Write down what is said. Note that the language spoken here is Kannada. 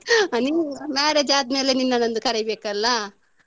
ಹಾ ನಿಮ್ಮ್ marriage ಆದ್ಮೇಲೆ ನಿನ್ನನ್ನೊಂದು ಕರೀಬೇಕಲ್ಲ.